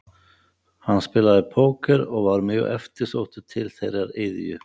Hann spilaði póker og var mjög eftirsóttur til þeirrar iðju.